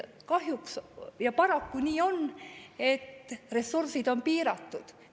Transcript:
Kahjuks on nii, et meie ressursid on piiratud.